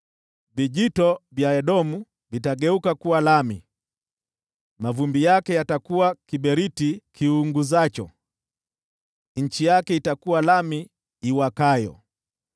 Vijito vya Edomu vitageuka kuwa lami, mavumbi yake yatakuwa kiberiti kiunguzacho, nchi yake itakuwa lami iwakayo!